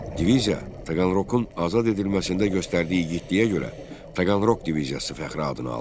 Diviziya Taqanrokun azad edilməsində göstərdiyi igidliyə görə Taqanrok diviziyası fəxri adını aldı.